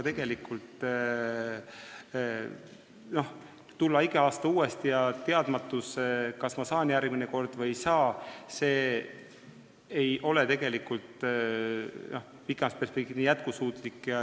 Igal aastal tuleb uuesti taotleda ja teadmatus, kas järgmine kord saab raha või ei saa, ei ole pikemas perspektiivis jätkusuutlik.